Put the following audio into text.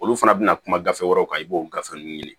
Olu fana bɛna kuma gafe wɛrɛw kan i b'o gafe ninnu ye